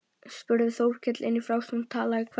spurði Þórkell inn í frásögnina og talaði hvellt.